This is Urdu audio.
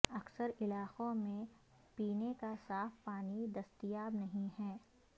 اکثر علاقوں میں پینے کا صاف پانی دستیاب نہیں ہے